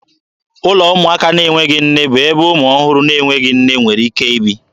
Ụlọ ụmụaka na-enweghị nne bụ ebe ụmụ ọhụrụ na-enweghị nne nwere ike ibi.